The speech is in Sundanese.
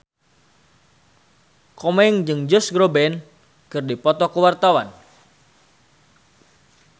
Komeng jeung Josh Groban keur dipoto ku wartawan